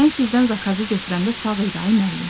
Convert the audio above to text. Mən sizdən zakazı götürəndə sağ idi, ay müəllim.